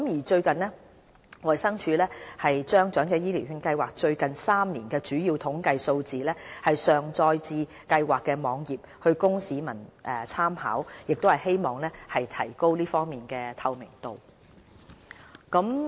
最近，衞生署把長者醫療券計劃最近3年的主要統計數字上載至該計劃的網頁，供市民參考，以提高這方面的透明度。